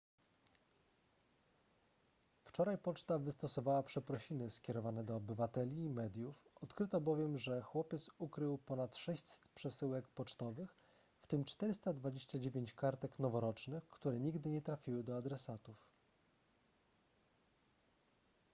wczoraj poczta wystosowała przeprosiny skierowane do obywateli i mediów odkryto bowiem że chłopiec ukrył ponad 600 przesyłek pocztowych w tym 429 kartek noworocznych które nigdy nie trafiły do adresatów